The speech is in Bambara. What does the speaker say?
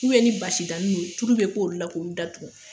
ni basi dani no tulu k'olu la k'olu da dugu.